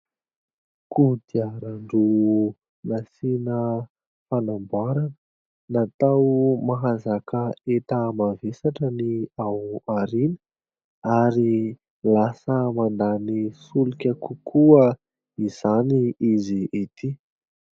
Kodiaran-droa nasiana fanamboarana, natao mahazaka entana mavesatra ny ao aoriana ary lasa mandany solika kokoa izany izy ity.